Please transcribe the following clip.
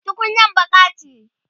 tukunyar baƙa ce